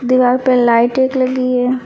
दीवाल पे लाइट एक लगी है।